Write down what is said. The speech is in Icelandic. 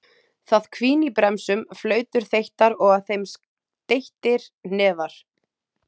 Það hvín í bremsum, flautur þeyttar og að þeim steyttir hnefar.